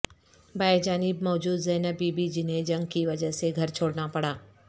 بائیں جانب موجود زینب بی بی جنھیں جنگ کی وجہ سے گھر چھوڑنا پڑا